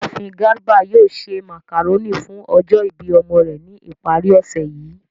Iyaafin Garba yoo ṣe macaroni fun ọjọ ibi ọmọ rẹ ni ipari osẹ yii.